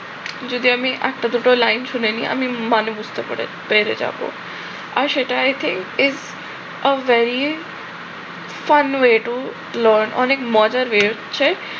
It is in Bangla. যদি আমি একটা দুইটা লাইন শুনে নেই আমি মানে বুঝতে পেরে পেরে যাব আর সেটা i think its a very fun way to learn অনেক মজার হচ্ছে